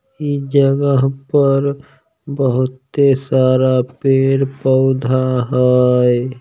ई जगह पर बहुते सारा पेड़-पौधा हई।